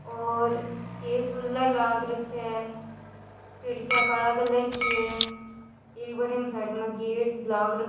और एक कूलर लाग रखे है खिड़किया काला कलर की है एक बठीने साइड में गेट लाग --